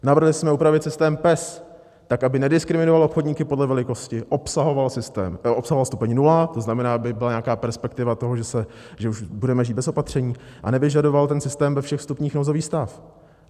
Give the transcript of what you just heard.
Navrhli jsme upravit systém PES tak, aby nediskriminoval obchodníky podle velikosti, obsahoval stupeň nula, to znamená, aby byla nějaká perspektiva toho, že už budeme žít bez opatření, a nevyžadoval ten systém ve všech stupních nouzový stav.